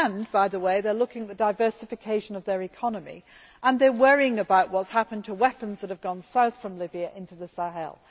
By the way, they are looking at the diversification of their economy and they are worrying about what has happened to weapons that have gone south from Libya into the Sahel.